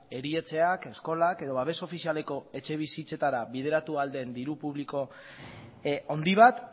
erietxeak eskolak edo babes ofizialeko etxebizitzetara bideratu ahal den diru publiko handi bat